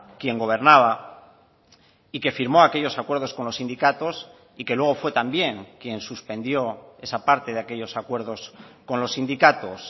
quien gobernaba y que firmó aquellos acuerdos con los sindicatos y que luego fue también quien suspendió esa parte de aquellos acuerdos con los sindicatos